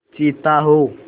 चीता हो